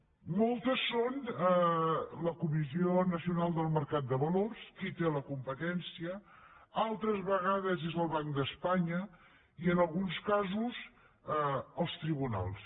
en molts és la comissió nacional del mercat de valors qui hi té la competència altres vegades és el banc d’espanya i en alguns casos els tribunals